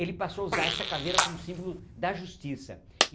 Ele passou a usar essa caveira como símbolo da justiça.